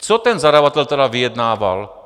Co ten zadavatel tedy vyjednával?